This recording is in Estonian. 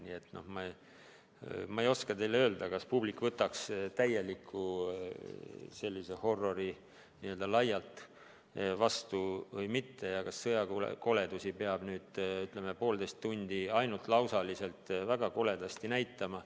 Nii et ma ei oska teile öelda, kas publik võtaks täieliku horror'i n-ö laialt vastu või mitte ja kas sõjakoledusi peab, ütleme, poolteist tundi ainult lausaliselt väga koledasti näitama.